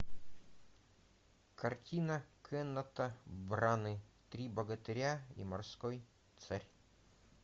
картина кеннета браны три богатыря и морской царь